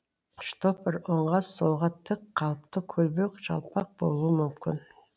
штопор оңға солға тік қалыпты көлбеу жалпақ болуы мүмкін